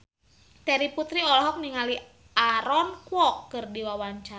Terry Putri olohok ningali Aaron Kwok keur diwawancara